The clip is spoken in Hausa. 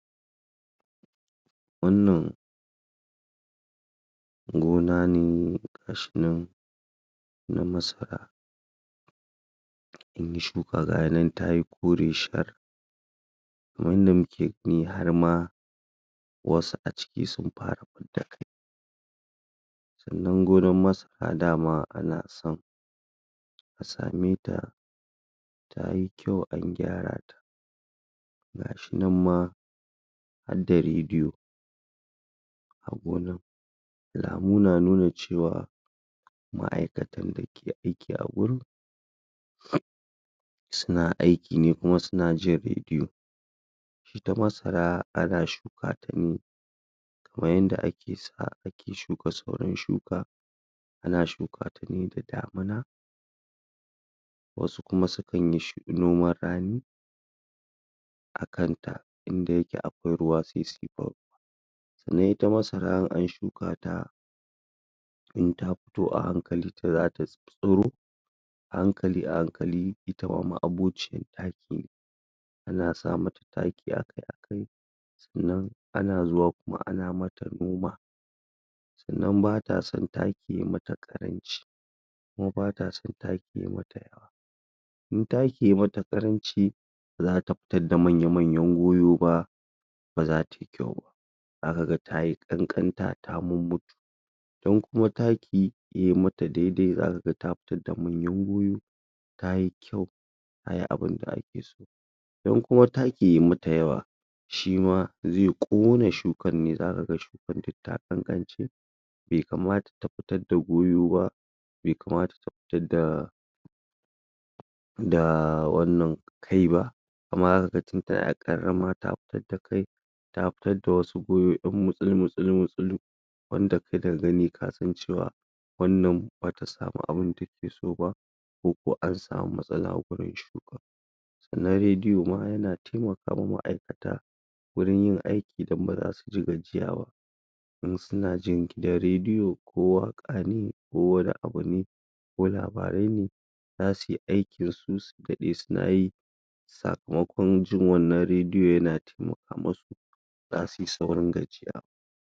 Wannan Gona ne gashi nan, na masara Mun yi shuka ga ya nan ta yi kore shar Wanda muke gani har ma Wasu a ciki sun fara fidda kai Sannan gonan masara dama ana son Ka same ta Ta yi kyau an gyara ta Gashi nan ma har da radiyo A gonan Alamu na nuna cewa, ma aikatan da ke aiki a wurin Suna aiki ne kuma suna jin radiyo Ita masara ana shuka ta ne Kamar yadda ake shuka sauran shuka Ana shuka ta ne da damuna Wasu kuma sukan yi noman rani Akan ta inda yake akwai ruwa sai suyi bau Sannan ita masara in an shuka ta In ta fito a hankali ta za ta tsiro A hankali a hankali ita mahabocin ɗaki Ana sa mata taki a kai a kai Sannan ana zuwa kuma ana mata noma Sannan ba ta son taki yayi mata ƙaranchi, kuma ba ta son taki yayi mata yawa In taki yayi mata ƙaranci ba za ta fitar da manya manyan goyo ba Ba za ta yi kyau ba, za ka ga ta yi ƙanƙanta ta mumutu Idan kuma taki yayi mata dai dai, za ka ga ta fitar da manyan goyo Tayi kyau, ta yi abun da ake so Idan kuma taki yayi mata yawa, shi ma zai ƙone shukan ne, za ka ga shukan duk ta ƙanƙance Bai kamata ta fitar da goyo ba, bai kamata ta fitar da Da wannan...da kai ba, amma lokaci ta na ƙarama ta fitar da kai Ta fitar da wasu goyo ɗan mutsul mutsul mutsulu Wanda in ka gani, ka san cewa ba ta sami abun da ta ke so ba Ko kuwa an samu matsala a gurin shukan Sannan radiyo ma yana taimaka ma ma'aikata wurin yin aiki don baza su gaji ba In Suna jin gidan radiyo, ko waƙa ne, ko wani abu ne, ko labarai ne Za suyi aikin su, su daɗe suna yi Sakamakon jin wannan radiyo yana taimaka masu, ba za su yi saurin gajiya ba.